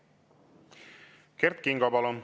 Kert Kingo, palun!